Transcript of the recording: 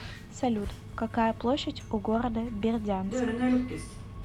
салют какая площадь у города бердянск